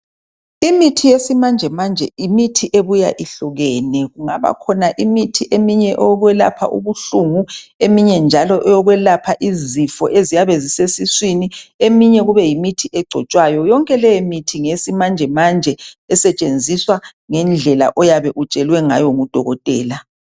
Imithi yesimanjemanje yimithi ebuya ihlukene, kungaba khona eminye imithi eyokwelapha ubbuhlungu, eminye njalo eyokwelapha izifo ezyabe zisesiswini, eminye kube yimithi egcotshwayo. Yonke leyimithi ngeyesimanjemanje esetshenziswa ngendlela oyabe utshelwe ngayo ngudokotela.